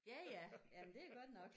Ja ja jamen det er godt nok